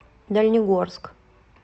дальнегорск